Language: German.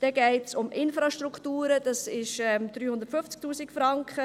Dann geht es um Infrastrukturen, das sind 350 000 Franken.